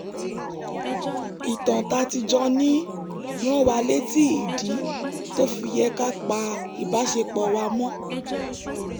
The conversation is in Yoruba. ìtàn tá a ti jọ ní rán wa létí ìdí tó fi yẹ ká pa ìbáṣepọ̀ wa mọ́